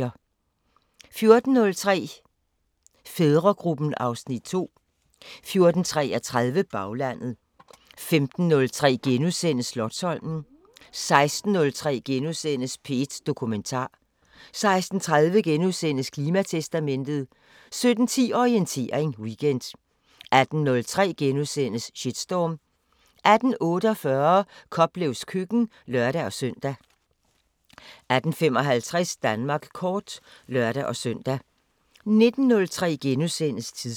14:03: Fædregruppen (Afs. 2) 14:33: Baglandet 15:03: Slotsholmen * 16:03: P1 Dokumentar * 16:30: Klimatestamentet * 17:10: Orientering Weekend 18:03: Shitstorm * 18:48: Koplevs køkken (lør-søn) 18:55: Danmark kort (lør-søn) 19:03: Tidsånd *